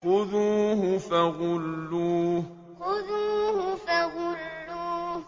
خُذُوهُ فَغُلُّوهُ خُذُوهُ فَغُلُّوهُ